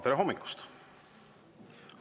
Tere hommikust!